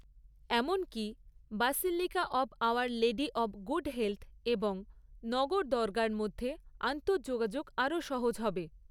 এমনকি, Basilica of Our Lady of Good Health এবং নগরদরগার মধ্যে আন্তঃযোগাযোগ আরও সহজ হবে।